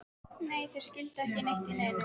Nei, þeir skildu ekki neitt í neinu.